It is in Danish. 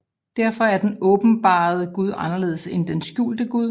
Derfor er den åbenbarede Gud anderledes end den skjulte Gud